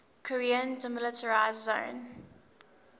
korean demilitarized zone